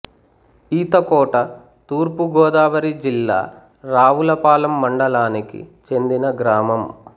ఈతకోట తూర్పు గోదావరి జిల్లా రావులపాలెం మండలానికి చెందిన గ్రామం